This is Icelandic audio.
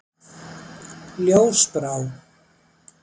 Ljósbrá